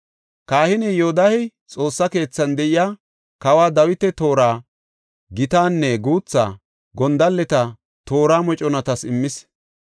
Kahiney Yoodahey Xoossa keethan de7iya, kawa Dawita toora, gitanne guutha gondalleta toora moconatas immis.